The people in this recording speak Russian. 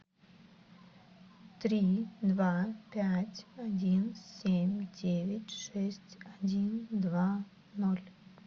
три два пять один семь девять шесть один два ноль